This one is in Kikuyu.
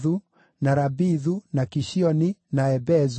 na Rabithu, na Kishioni, na Ebezu,